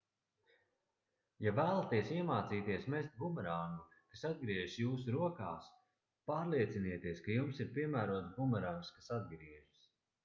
ja vēlaties iemācīties mest bumerangu kas atgriežas jūsu rokā pārliecinieties ka jums ir piemērots bumerangs kas atgriežas